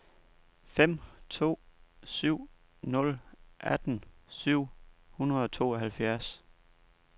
fem to syv nul atten syv hundrede og tooghalvfjerds